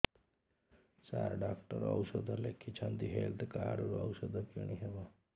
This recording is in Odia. ସାର ଡକ୍ଟର ଔଷଧ ଲେଖିଛନ୍ତି ହେଲ୍ଥ କାର୍ଡ ରୁ ଔଷଧ କିଣି ହେବ